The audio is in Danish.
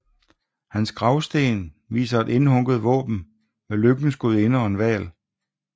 Hans gravsten viser et indhugget våben med lykkens gudinde og en hval